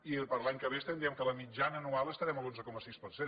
i per a l’any que ve diem que la mitjana anual estarem a l’onze coma sis per cent